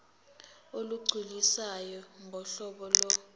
olugculisayo ngohlobo lo